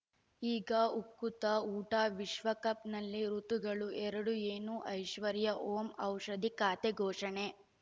ಈಗ ಉಕುತ ಊಟ ವಿಶ್ವಕಪ್‌ನಲ್ಲಿ ಋತುಗಳು ಎರಡು ಏನು ಐಶ್ವರ್ಯಾ ಓಂ ಔಷಧಿ ಖಾತೆ ಘೋಷಣೆ